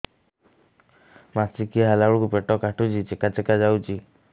ମାସିକିଆ ହେଲା ବେଳକୁ ପେଟ କାଟୁଚି ଚେକା ଚେକା ଯାଉଚି